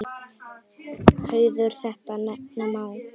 Hauður þetta nefna má.